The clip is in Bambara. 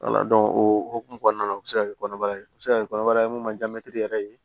o hokumu kɔnɔna na u bɛ se ka kɛ kɔnɔbara ye u be se ka kɛ kɔnɔbara ye mun ma diya mɛtiri yɛrɛ ye